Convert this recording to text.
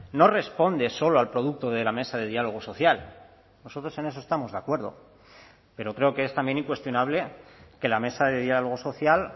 no responde solo al producto de la mesa de diálogo social nosotros en eso estamos de acuerdo pero creo que es también incuestionable que la mesa de diálogo social